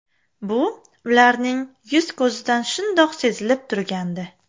Bu ularning yuz-ko‘zidan shundoq sezilib turgandi.